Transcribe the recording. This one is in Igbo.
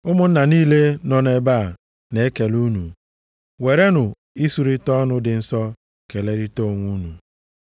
Ụmụnna niile nọ nʼebe a na-ekele unu. Werenụ isurita ọnụ dị nsọ kelerịta onwe unu.